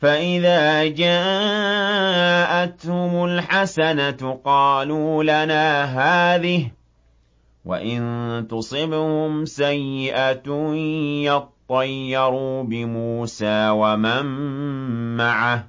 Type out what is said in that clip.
فَإِذَا جَاءَتْهُمُ الْحَسَنَةُ قَالُوا لَنَا هَٰذِهِ ۖ وَإِن تُصِبْهُمْ سَيِّئَةٌ يَطَّيَّرُوا بِمُوسَىٰ وَمَن مَّعَهُ ۗ